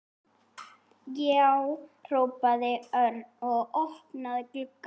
Já! hrópaði Örn og opnaði gluggann.